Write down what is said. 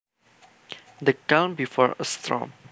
The calm before a storm